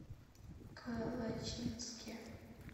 калачинске